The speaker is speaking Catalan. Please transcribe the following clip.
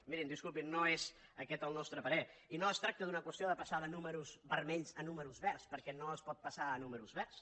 mirin disculpin no és aquest el nostre parer i no es tracta d’una qüestió de passar de números vermells a números verds perquè no es pot passar a números verds